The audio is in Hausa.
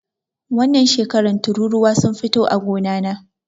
Wannan shekaran tururuwa sun fito a gona na